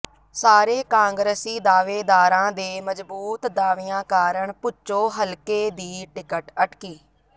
ਸਾਰੇ ਕਾਂਗਰਸੀ ਦਾਅਵੇਦਾਰਾਂ ਦੇ ਮਜ਼ਬੂਤ ਦਾਅਵਿਆਂ ਕਾਰਨ ਭੁੱਚੋ ਹਲਕੇ ਦੀ ਟਿਕਟ ਅਟਕੀ